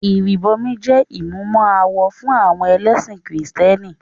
Ìrìbọmi jẹ́ ìmúmọ-awọ fún àwọn ẹlẹ́sìn kìrìtẹ́nì.